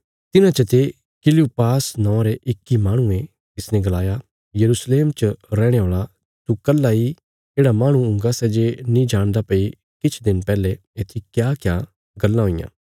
तिन्हां चते किलयूपास नौआं रे इक्की माहणुये तिसने गलाया यरूशलेम च रैहणे औल़ा तू कल्हा इ येढ़ा माहणु हुंगा सै जे नीं जाणदा भई किछ दिन पहले येत्थी क्याक्या गल्लां हुईयां